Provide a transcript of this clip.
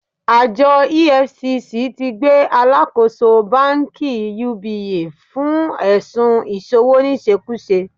Àjọ EFCC ti gbé Alákòóso Báńkì UBA fún ẹ̀sun ìṣowóníṣekúṣe